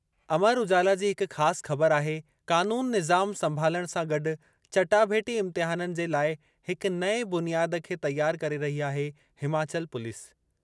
अमर उजाला जी हिक ख़ासि ख़बर आहे क़ानून निज़ाम संभालणु सां गॾु चटाभेटी इम्तिहाननि जे लाइ हिक नएं बुनियाद खे तयार करे रही आहे हिमाचल पुलिस।